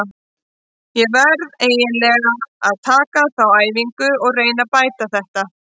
Ég verð eiginlega að taka þá á æfingu og reyna að bæta þetta.